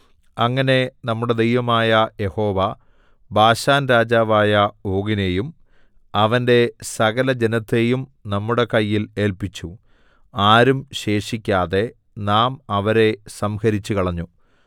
അങ്ങനെ നമ്മുടെ ദൈവമായ യഹോവ ബാശാൻരാജാവായ ഓഗിനെയും അവന്റെ സകലജനത്തെയും നമ്മുടെ കയ്യിൽ ഏല്പിച്ചു ആരും ശേഷിക്കാതെ നാം അവരെ സംഹരിച്ചുകളഞ്ഞു